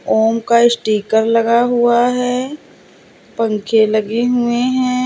ओम का स्टीकर लगा हुआ है पंखे लगे हुए हैं।